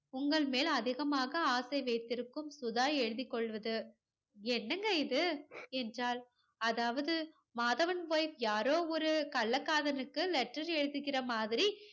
உங்கள் மேல் அதிகமாக ஆசை வைத்திருக்கும் சுதா எழுதிக் கொள்வது. என்னங்க இது என்றாள். அதாவது மாதவன் wife யாரோ ஒரு கள்ளக் காதலனுக்கு letter எழுதுகிற மாதிரி